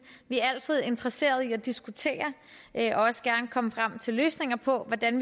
vi er altid interesseret i at diskutere og også gerne komme frem til løsninger på hvordan